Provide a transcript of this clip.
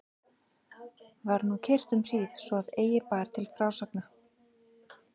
Var nú kyrrt um hríð svo að eigi bar til frásagna.